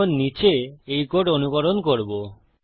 এখন নীচে এই কোড অনুকরণ করবো